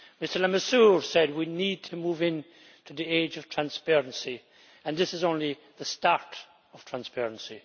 Mr Lamassoure said that we need to move in to the age of transparency, and this is only the start of transparency.